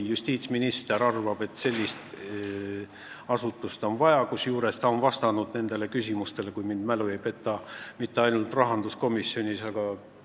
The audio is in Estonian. Justiitsminister arvab, et sellist asutust on vaja, kusjuures ta ei ole vastanud nendele küsimustele mitte ainult rahanduskomisjonis, kui mälu mind ei peta.